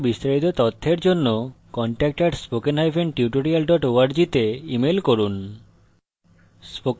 এই বিষয়ে বিস্তারিত তথ্যের জন্য contact @spokentutorial org তে ইমেল করুন